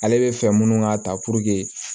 Ale bɛ fɛ minnu ka ta pur